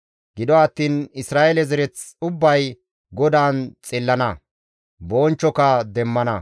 Gido attiin Isra7eele zereth ubbay GODAAN xillana; bonchchoka demmana.